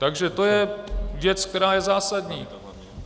Takže to je věc, která je zásadní.